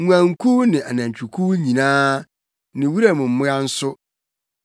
nguankuw ne anantwikuw nyinaa ne wuram mmoa nso,